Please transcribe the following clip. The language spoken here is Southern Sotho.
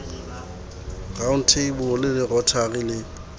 round table le rotary le